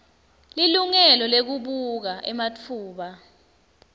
lilungelo lekubuka ematfuba